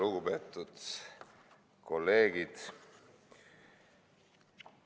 Lugupeetud kolleegid!